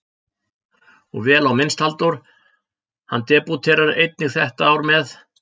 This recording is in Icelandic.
Og vel á minnst Halldór, hann debúterar einnig þetta ár með